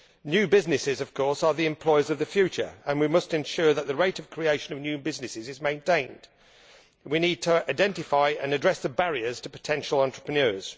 New businesses, of course, are the employers of the future, and we must ensure that the rate of creation of new businesses is maintained. We need to identify and address the barriers to potential entrepreneurs.